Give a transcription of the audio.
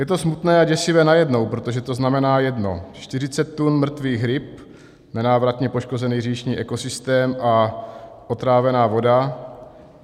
Je to smutné a děsivé najednou, protože to znamená jedno: 40 tun mrtvých ryb, nenávratně poškozený říční ekosystém a otrávená voda.